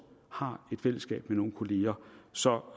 har et fællesskab med nogle kollegaer så